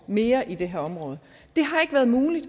mere i det her område det har ikke været muligt